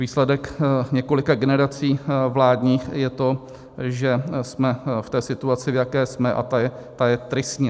Výsledek několika generací vládních je to, že jsme v té situaci, v jaké jsme, a ta je tristní.